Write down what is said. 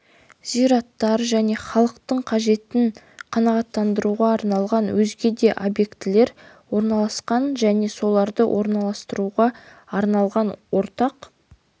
зираттар және халықтың қажеттерін қанағаттандыруға арналған өзге де объектілер орналасқан және соларды орналастыруға арналған ортақ